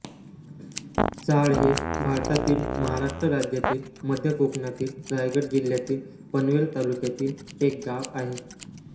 चाळ हे भारतातील महाराष्ट्र राज्यातील मध्य कोकणातील रायगड जिल्ह्यातील पनवेल तालुक्यातील एक गाव आहे